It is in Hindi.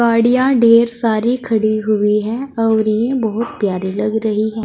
गाड़ियां ढ़ेर सारी खड़ी हुई हैं अउरी बहुत प्यारी लग रही है।